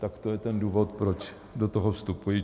Tak to je ten důvod, proč do toho vstupuji.